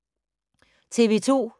TV 2